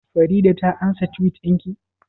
Farida ta ansa Tiwit ɗin ki?